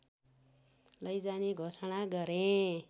लैजाने घोषणा गरे